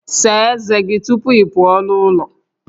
Saa ezé gị tupu ị pụọ n'ụlọ